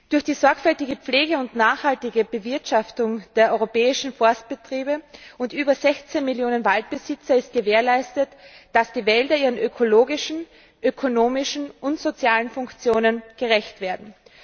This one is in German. Durch die sorgfältige Pflege und nachhaltige Bewirtschaftung durch die europäischen Forstbetriebe und durch über 16 Millionen Waldbesitzer ist gewährleistet, dass die Wälder ihren ökologischen, ökonomischen und sozialen Funktionen gerecht werden.